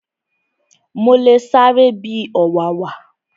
Mo le sáré bi ọ̀wàwà